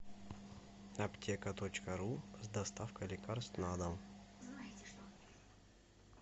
аптека точка ру с доставкой лекарств на дом